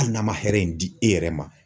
Hali n'a ma hɛrɛ in di e yɛrɛ ma